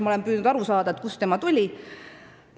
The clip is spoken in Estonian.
Ma olen püüdnud aru saada, kust see tuli.